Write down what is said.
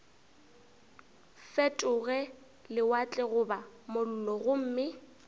fetoge lewatle goba mollo gomme